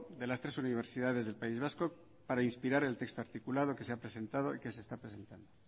de las tres universidades del país vasco para inspirar el texto articulado que se ha presentado y que se está presentando